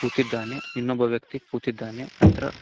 ಕೂತಿದ್ದಾನೆ ಇನ್ನೊಬ್ಬ ವ್ಯಕ್ತಿ ಕೂತಿದ್ದಾನೆ ನಂತರ--